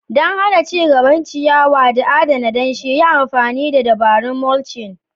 Don hana ci gaban ciyawa da adana danshi, yi amfani da dabarun mulching.